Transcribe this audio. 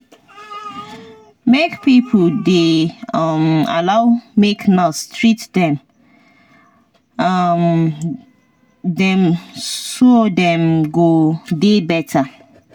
make pipo dey um allow make nurse treat um dem so dem go dey better.